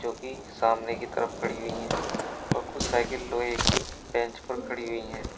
जोकि सामने की तरफ खड़ी हुई है और कुछ साइकिल लोहे की बेंच पर खड़ी हुई है।